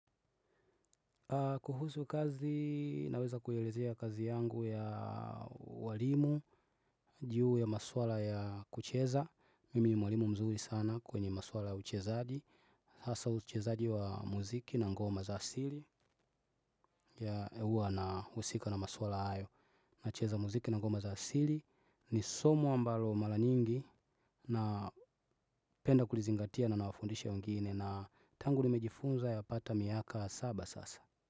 Kuhusu kazi naweza kuelezea kazi yangu ya ualimu juu ya maswala ya kucheza. Mimi ni mwalimu mzuri sana kwenye maswala uchezaji hasaa uchezaji wa muziki na ngoma za asili ya huwa nahusika na maswala hayo. Nacheza muziki na ngoma za asili ni somo ambalo mara nyingi napenda kulizingatia na nawafundisha wengine na tangu nimejifunza yapata miaka saba sasa.